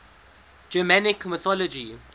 germanic mythology